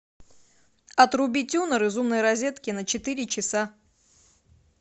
отруби тюнер из умной розетки на четыре часа